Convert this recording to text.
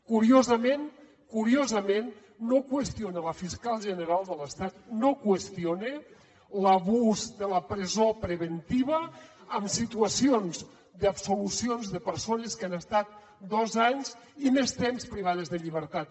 curiosament curiosament no ho qüestiona la fiscal general de l’estat no qüestiona l’abús de la presó preventiva en situacions d’absolucions de persones que han estat dos anys i més temps privades de llibertat